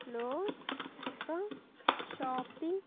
లో ఒక షాపింగ్ .